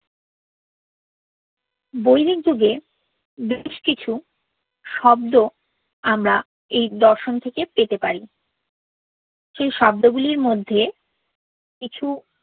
বৈদিক যুগে বেশ কিছু শব্দ আমরা এই দর্শন থেকে পেতে পারি সেই শব্দ গুলির মধ্যে কিছু